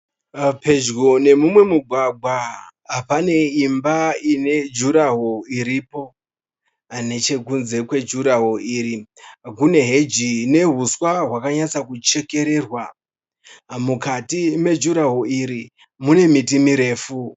Pedyo nemumwe mugwagwa pane imba ine jurahoro iripo. Nechekunze kwejurahoro iri kune heji nehuswa hwakanyatsa kuchekererwa. Mukati mejurahoro iri mune miti mirefu.